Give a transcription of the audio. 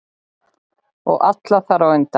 Og alla þar á undan.